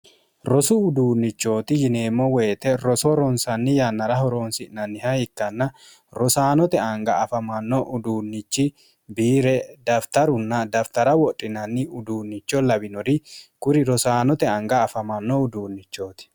rosu uduunnichooti yineemmo woyite roso ronsanni yannara horoonsi'nanniha ikkanna rosaanote anga afamanno uduunnichi biire dafitarunna dafitara wodhinanni uduunnicho lawinori kuri rosaanote anga afamanno uduunnichooti.